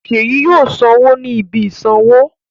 Ṣèyí yóò sanwó ní ibi ìsanwó.